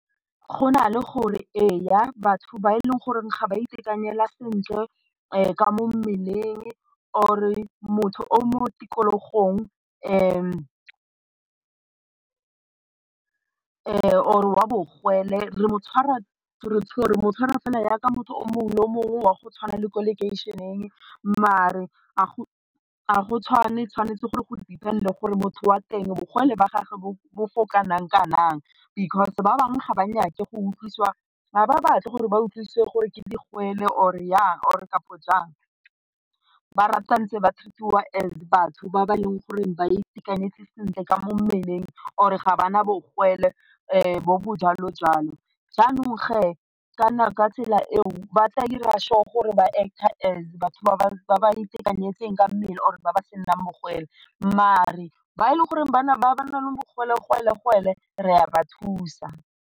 Go na le gore ee, batho ba e leng gore ga ba itekanela sentle ka mo mmeleng or motho o mo tikologong or wa bogole re mo tshwara gore motho wa fela jaaka motho o mongwe le o mongwe wa go tshwana le ko lekeišeneng mare ga go tshwane tshwanetse gore go depend le gore motho wa teng bogole ba gagwe bo bo kana-kanang because ba bangwe ga ba nyake go utlwiwa ga ba batle gore ba utlwisiwe gore ke digole or jang, or kapa jang ba rata ntse ba treat-iwa as batho ba ba leng gore ba itekanetse sentle ka mo mmeleng or ga ba na bogole bo bo jalojalo jaanong kana ka tsela eo ba tla dira sure gore ba act as batho ba ba itekanetseng ka mmele or ba ba senang bogole mare ba e leng gore bana ba ba nang le bogolegole-gole re a ba thusa.